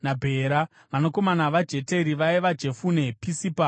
Vanakomana vaJeteri vaiva: Jefune, Pisipa naAra.